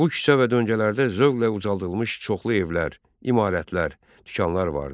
Bu küçə və döngələrdə zövqlə ucaldılmış çoxlu evlər, imarətlər, dükanlar vardı.